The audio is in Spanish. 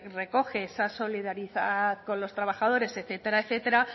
recoge esa solidaridad con los trabajadores etcétera etcétera